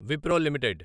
Wipro limited